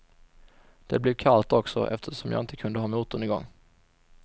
Det blev kallt också, eftersom jag inte kunde ha motorn igång.